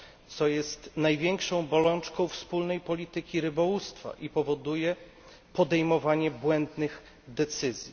co jest największą bolączką wspólnej polityki rybołówstwa i powoduje podejmowanie błędnych decyzji.